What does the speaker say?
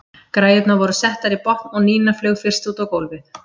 Græjurnar voru settar í botn og Nína flaug fyrst út á gólfið.